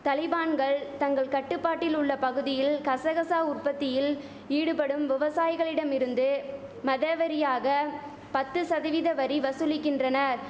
தலிபான்கள் தங்கள் கட்டுப்பாட்டில் உள்ள பகுதியில் கசகசா உற்பத்தியில் ஈடுபடும் விவசாயிகளிடமிருந்து மதவெரியாக பத்து சதவித வரி வசூலிக்கின்றனர்